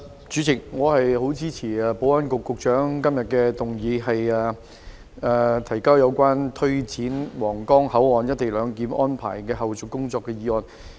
主席，我支持保安局局長今天動議有關推展皇崗口岸「一地兩檢」安排的後續工作的議案。